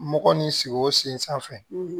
Mɔgɔ nin sigi o sen sanfɛ